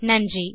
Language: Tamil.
நன்றி